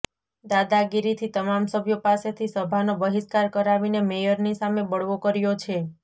દાદાગીરીથી તમામ સભ્યો પાસેથી સભાનો બહિષ્કાર કરાવીને મેયરની સામે બળવો કર્યો છે